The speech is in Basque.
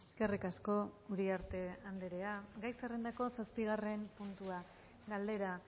eskerrik asko uriarte andrea gai zerrendako zazpigarren puntua galdera